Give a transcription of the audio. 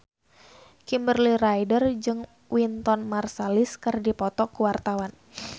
Kimberly Ryder jeung Wynton Marsalis keur dipoto ku wartawan